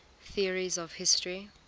theories of history